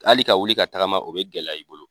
Hali ka wuli ka tagama o bɛ gɛlɛya i bolo.